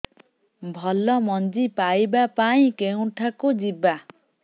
ଭଲ ମଞ୍ଜି ପାଇବା ପାଇଁ କେଉଁଠାକୁ ଯିବା